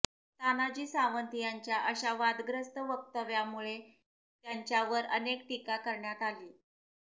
तानाजी सावंत यांच्या अशा वादग्रस्त वक्तव्यामुळे त्यांच्यावर अनेक टीका करण्यात आली